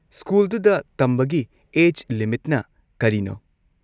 ꯁ꯭ꯀꯨꯜꯗꯨꯗ ꯇꯝꯕꯒꯤ ꯑꯦꯖ ꯂꯤꯃꯤꯠꯅ ꯀꯔꯤꯅꯣ?